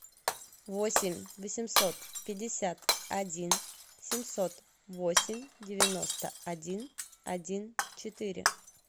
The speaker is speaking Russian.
восемь восемьсот пятьдесят один семьсот восемь девяносто один один четыре